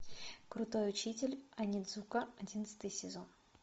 крутой учитель онидзука одиннадцатый сезон